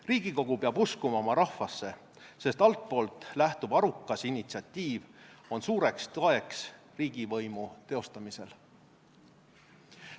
Riigikogu peab uskuma oma rahvasse, sest altpoolt lähtuv arukas initsiatiiv on suureks toeks riigivõimu teostamisel.